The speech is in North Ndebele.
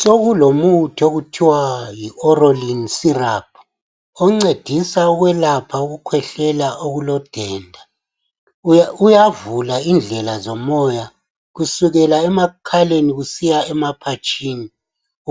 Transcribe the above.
Sokulomuthi okuthwa yi orolin sirop oncedisa ukwelapha ukukhwehlela okulodenda. Uyavula indlela zomoya kusukela emakhaleni usiya emaphatshini,